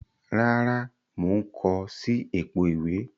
Rárá, mo n ko si èpo ìwé